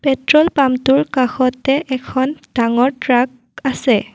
Petrol পাম্পটোৰ কাষতে এখন ডাঙৰ ট্ৰাক আছে।